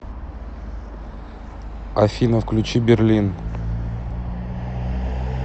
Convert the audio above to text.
афина включи берлин